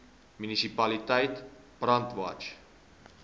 munisipaliteit brandwatch